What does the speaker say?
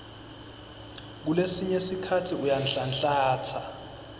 kulesinye sikhatsi uyanhlanhlatsa